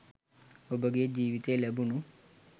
ඔබගේ ජීවිතයේ ලැබුණු